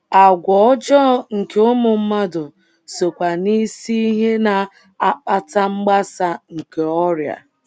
Àgwà ọjọọ nke ụmụ mmadụ sokwa n’isi ihe na - akpata mgbasa nke ọrịa.